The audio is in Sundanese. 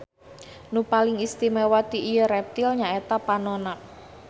Nu paling istimewa ti ieu reptil nyaeta panonna.